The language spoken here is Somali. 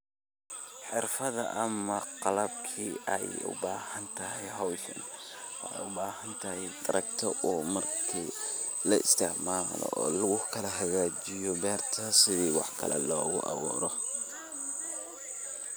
Xirfaada ama qalabkii ee u bahaantahay howshan, wexeey u bahaantahy, taragto o markii laisticmaalo, o lagu kala hagajiyo berta sithii wax kalee loogu awuuro.